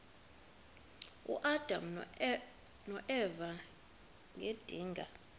uadam noeva ngedinga